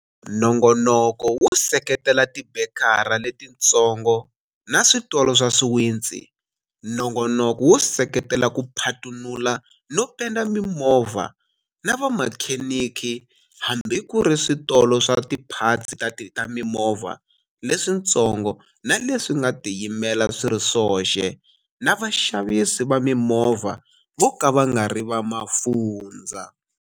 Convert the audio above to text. Nongonoko wo seketela tibekara letitsongo na switolo swa swiwitsi, Nongonoko wo seketela ku phatunula no penda mimovha na vamakhenikhi, hambi ku ri switolo swa tiphatsi ta mimovha leswitsongo na leswi nga tiyimela swi ri swoxe na vaxavisi va mimovha vo ka va nga ri va mafundzha.